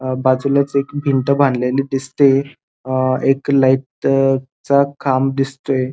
अ बाजूलाच एक भिंत बांधलेली दिसतीय अ एक लाइट चा खांब दिसतोय.